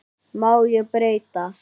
Má ég breyta?